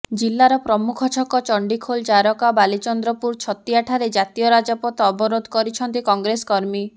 ଜିଲ୍ଲାର ପ୍ରମୁଖ ଛକ ଚଣ୍ଡିଖୋଲ ଜାରକା ବାଲିଚନ୍ଦ୍ରପୁର ଛତିଆଠାରେ ଜାତୀୟ ରାଜପଥ ଅବରୋଧ କରିଛନ୍ତି କଂଗ୍ରେସ କର୍ମୀ